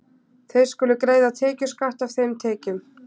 Þeir skulu greiða tekjuskatt af þeim tekjum.